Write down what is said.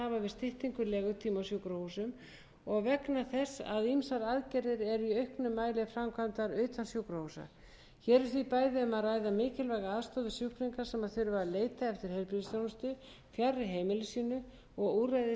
styttingu legutíma á sjúkrahúsum og vegna þess að ýmsar aðgerðir eru í auknum mæli framkvæmdar utan sjúkrahúsa hér er því bæði um að ræða mikilvæga aðstoð við sjúklinga sem þurfa að leita eftir heilbrigðisþjónustu fjarri heimili sínu og úrræði sem stytt getur